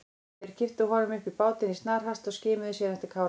Þeir kipptu honum upp í bátinn í snarhasti og skimuðu síðan eftir Kára.